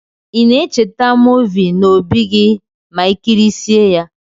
Ina echeta movi na obi gi ma ikirisie ya?